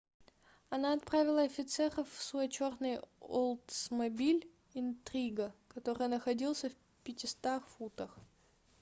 она отправила офицеров в свой чёрный олдсмобиль интрига который находился в 500 футах